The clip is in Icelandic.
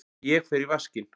Ég fer í vaskinn.